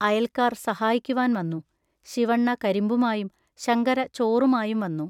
അയൽക്കാർ സഹായിക്കുവാൻ വന്നു. ശിവണ്ണ കരിമ്പുമായും ശങ്കര ചോറുമായും വന്നു.